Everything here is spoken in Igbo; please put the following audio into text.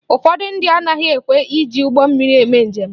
Ụfọdụ ndị anaghị ekwe eji ụgbọ mmiri eme njem